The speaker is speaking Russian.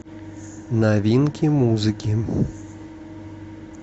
новинки музыки